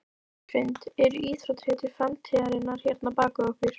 Hrund: Eru íþróttahetjur framtíðarinnar hérna bak við okkur?